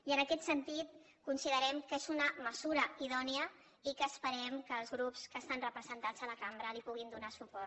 i en aquest sentit considerem que és una mesura idònia i que esperem que els grups que estan representats a la cambra li puguin donar suport